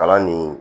Kalan nin